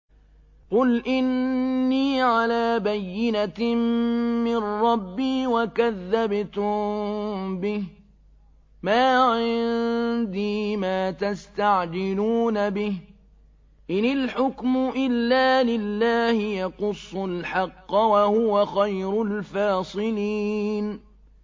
قُلْ إِنِّي عَلَىٰ بَيِّنَةٍ مِّن رَّبِّي وَكَذَّبْتُم بِهِ ۚ مَا عِندِي مَا تَسْتَعْجِلُونَ بِهِ ۚ إِنِ الْحُكْمُ إِلَّا لِلَّهِ ۖ يَقُصُّ الْحَقَّ ۖ وَهُوَ خَيْرُ الْفَاصِلِينَ